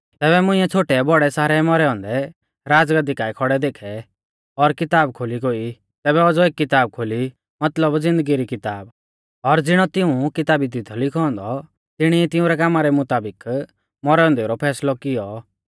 तैबै मुंइऐ छ़ोटैबौड़ै सारै मौरै औन्दै राज़गाद्दी काऐ खौड़ै देखै और किताब खोली गोई तैबै औज़ौ एक किताब खोली मतलब ज़िन्दगी री किताब और ज़िणौ तिऊं किताबी दी थौ लिखौ औन्दौ तिणी ई तिंउरै कामा रै मुताबिक मौरै औन्देऊ रौ फैसलौ कियौ